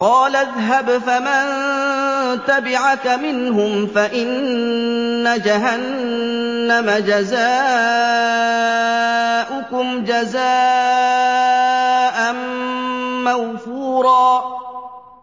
قَالَ اذْهَبْ فَمَن تَبِعَكَ مِنْهُمْ فَإِنَّ جَهَنَّمَ جَزَاؤُكُمْ جَزَاءً مَّوْفُورًا